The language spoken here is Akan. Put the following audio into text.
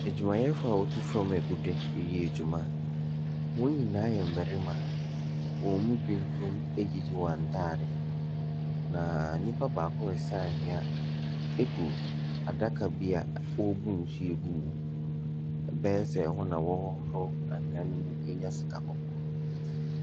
Adwumayɛfoɔ a wɔtu fam agudeɛ reyɛ adwuma. Wɔn nyinaa yɛ mmarima. Wɔn mu binom ayiyi wɔn atadeɛ, na nnipa baako resa anwea agu adaka bi a wɔrebu nsuo gu mu mu. Ɛbɛyɛ sɛ ɛwɔ na wɔrehohoro anwea no mu anya sikakɔkɔɔ.